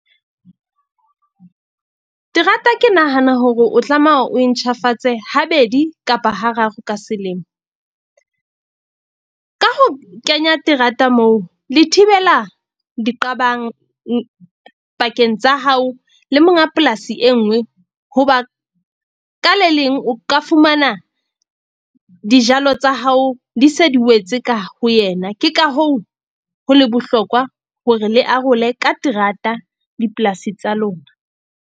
Terata ke nahana hore o tlameha o e ntjhafatse habedi kapa ha raro ka selemo ka ho kenya terata moo le thibela diqabang pakeng tsa hao le monga polasi e nngwe. Hoba ka le leng o ka fumana dijalo tsa hao di se di wetse ka ho yena. Ke ka hoo, ho le bohlokwa hore le arole ka terata dipolasi tsa lona.